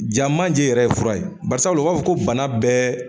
Ja manje yɛrɛ ye fura ye, barisabu la u b'a fɔ ko bana bɛɛ